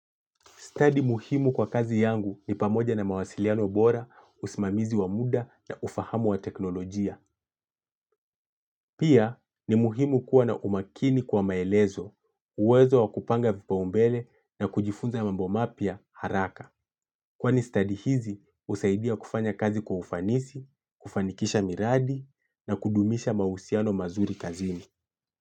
Study muhimu kwa kazi yangu ni pamoja na mawasiliano bora, usimamizi wa muda na ufahamu wa teknolojia. Pia, ni muhimu kuwa na umakini kwa maelezo, uwezo wa kupanga vipaombele na kujifunza mambo mapya haraka. Kwa ni study hizi, husaidia kufanya kazi kwa ufanisi, kufanikisha miradi na kudumisha mahusiano mazuri kazini.